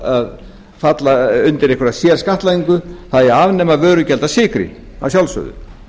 að falla undir einhverja sérskattlagningu það eigi að afnema vörugjald af sykri að sjálfsögðu